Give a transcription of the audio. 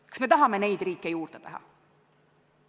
Kas me tahame, et neid riike oleks rohkem?